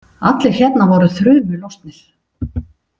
Allir hérna voru þrumu lostnir.